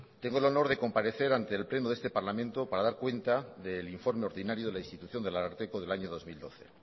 tengo el honor de comparecer ante el pleno de este parlamento para dar cuenta del informe ordinario de la institución del ararteko del año dos mil doce